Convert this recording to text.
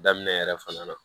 Daminɛ yɛrɛ fana na